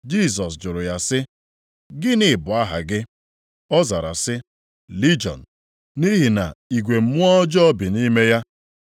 Jisọs jụrụ ya sị, “Gịnị bụ aha gị?” Ọ zara sị, “Lijiọn,” nʼihi na igwe mmụọ ọjọọ bi nʼime ya.